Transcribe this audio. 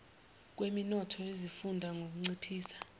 kweminotho yezifunda ngukunciphisa